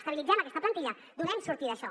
estabilitzem aquesta plantilla donem sortida a això